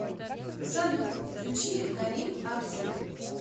салют включи горим авдил